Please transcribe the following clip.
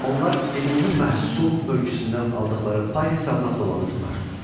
Onlar ümumi məhsul bölgüsündən aldıqları pay hesabına dolanırdılar.